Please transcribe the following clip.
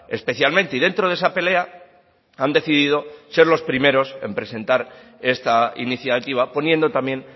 especialmente y dentro de esa pelea han decidido ser los primeros en presentar esta iniciativa poniendo también